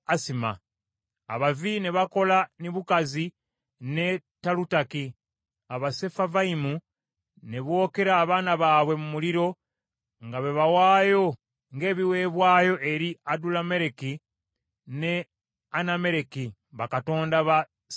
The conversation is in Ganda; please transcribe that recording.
Abavi ne bakola Nibukazi ne Talutaki, Abasefavayimu ne bookera abaana baabwe mu muliro, nga babawaayo ng’ebiweebwayo eri Adulammereki ne Anammereki, bakatonda ba Sefavayimu.